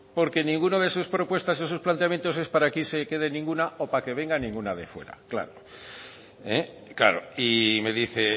porque ninguna de sus propuestas en sus planteamientos es para que se quede ninguna o para que venga ninguna de fuera claro claro y me dice